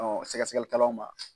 Sɛkɛsɛkɛli kɛlaw ma.